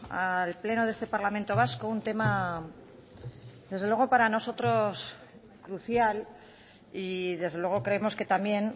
al pleno de este parlamento vasco un tema desde luego para nosotros crucial y desde luego creemos que también